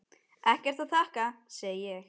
Ekkert að þakka, segi ég.